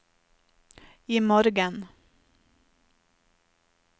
imorgen